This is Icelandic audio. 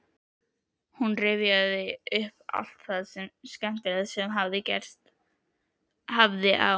Hún rifjaði upp allt það skemmtilega sem gerst hafði á